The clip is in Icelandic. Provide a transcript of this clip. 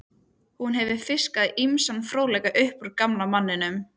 Hún hefur fiskað ýmsan fróðleik upp úr gamla manninum.